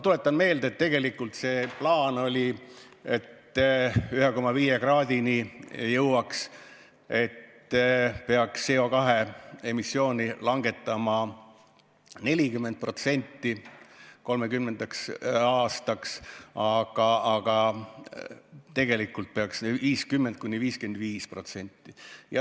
Tuletan meelde, et plaan oli selline, et 1,5 kraadini jõudmiseks peaks CO2 emissiooni langetama 2030. aastaks 40%, tegelikult aga tuleks saavutada 50–55%.